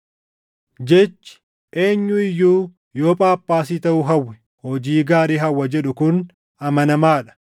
Jechi, “Eenyu iyyuu yoo Phaaphaasii taʼuu hawwe, hojii gaarii hawwa” jedhu kun amanamaa dha.